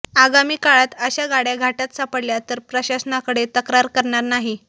आगामी काळात अशा गाड्या घाटात सापडल्या तर प्रशासनाकडे तक्रार करणार नाही